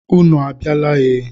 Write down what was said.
Ụnụ a biala e?